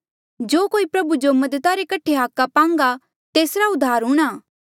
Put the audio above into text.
जो कोई प्रभु जो मदद रे हाका पांगा तेस उद्धार हूंणा